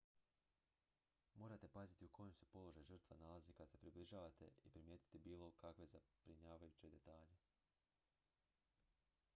morate paziti u kojem se položaju žrtva nalazi kad se približavate i primijetiti bilo kakve zabrinjavajuće detalje